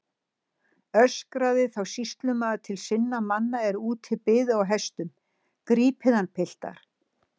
Öskraði þá sýslumaður til sinna manna er úti biðu á hestum: Grípið hann piltar.